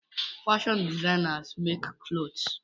Fashion designers makes clothes.